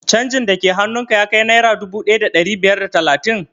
Canjin da ke hannun ka ya kai naira dubu ɗaya da ɗari biyar da talatin?